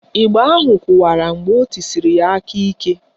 Ịgba ahụ kụwara mgbe o tisiri ya aka ike